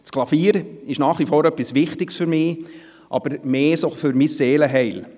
Das Klavier ist nach wie vor etwas Wichtiges für mich, aber mehr für mein Seelenheil.